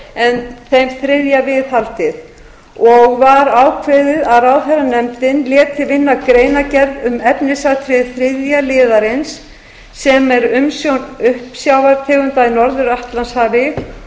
en þeim þriðja viðhaldið og var ákveðið nefndin léti vinna greinargerð um efnisatriði þriðja liðarins sem er umsjón uppsjávartegunda í norður atlantshafi